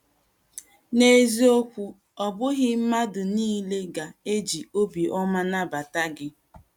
N’eziokwu, ọ bụghị mmadụ nile ga - eji obi ọma nabata gị.